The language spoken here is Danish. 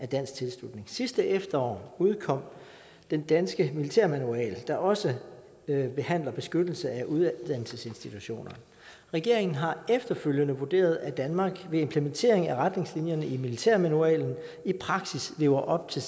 dansk tilslutning sidste efterår udkom den danske militærmanual der også behandler beskyttelse af uddannelsesinstitutioner regeringen har efterfølgende vurderet at danmark ved implementering af retningslinjerne i militærmanualen i praksis lever op til